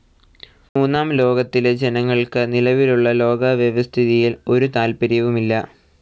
മൂന്നാം ലോകത്തിലെ ജനങ്ങൾക്ക് നിലവിലുള്ള ലോകവ്യവസ്ഥിതിയിൽ ഒരു താല്പര്യവുമില്ല.